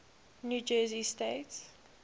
new jersey state